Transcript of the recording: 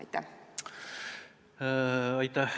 Aitäh!